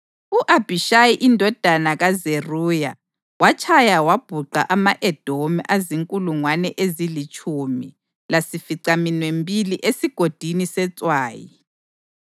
U-Abhishayi indodana kaZeruya watshaya wabhuqa ama-Edomi azinkulungwane ezilitshumi lasificaminwembili eSigodini seTswayi.